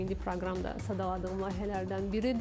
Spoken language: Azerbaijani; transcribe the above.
Kimi proqram da sadaladığım layihələrdən biridir.